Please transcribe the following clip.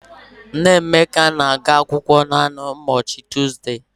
Nneamaka na-aga akwụkwọ naanị n'ụbochị Tuuzde